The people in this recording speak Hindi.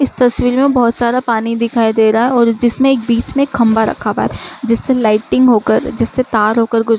इस तस्वीर में बोहोत सारा पानी दिखाई दे रहा है और जिसमें एक बीच में एक खम्बा रखा हुआ है जिससे लाइटिंग होकर जिससे तार होकर गुज --